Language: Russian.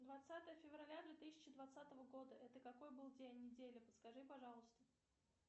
двадцатое февраля две тысячи двадцатого года это какой был день недели подскажи пожалуйста